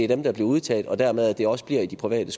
der bliver udtaget og dermed at det også bliver i de private